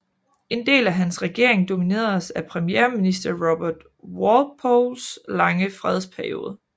En del af hans regering domineredes af premierminister Robert Walpoles lange fredsperiode